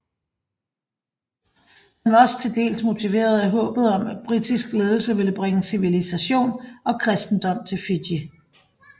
Han var også til dels motiveret af håbet om at britisk ledelse ville bringe civilisation og kristendom til Fiji